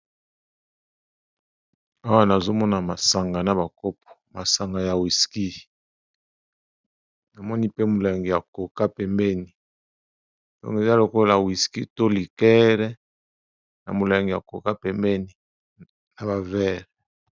Awa nazomona masanga na bakopo masanga ya wiski namoni pe molangi ya koka pembeni ntonge eza lokola wiski to likere na molangi ya koka pembeni na bavere.